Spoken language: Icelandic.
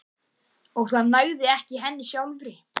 Og það nægði ekki henni sjálfri.